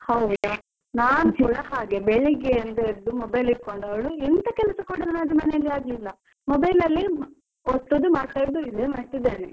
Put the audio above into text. ಹೌದಾ. ನಾನ್ ಕೂಡ ಹಾಗೆ ಬೆಳ್ಳಿಗೆಯಿಂದ ಹಿಡ್ದು mobile ಹಿಡ್ಕೊಂಡವ್ಳು ಎಂತ ಕೆಲ್ಸ ಕೂಡ ನನ್ನದು ಮನೆಯಲ್ಲಿ ಆಗ್ಲಿಲ್ಲ mobile ಅಲ್ಲೇ ಒತ್ತುದು ಮಾತಾಡುದು ಇದೇ ಮಾಡ್ತಾ ಇದ್ದೇನೆ.